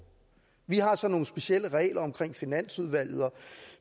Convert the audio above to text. vi har så nogle specielle regler omkring finansudvalget